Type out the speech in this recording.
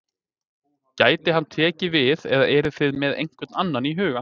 Gæti hann tekið við eða eruð þið með einhvern annan í huga?